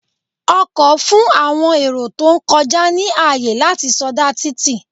Ọkọ̀ fún àwọn èrò tó ń kọjá ní àyè láti sọdá títì.